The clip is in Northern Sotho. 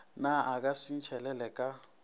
na a ka sentšhelele ka